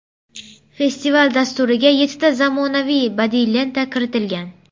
Festival dasturiga yettita zamonaviy badiiy lenta kiritilgan.